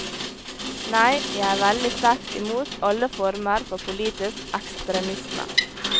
Nei, jeg er veldig sterkt imot alle former for politisk ekstremisme.